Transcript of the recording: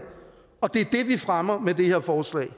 og det er det vi fremmer med det her forslag